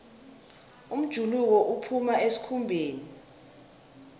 umjuluko uphuma esikhumbeni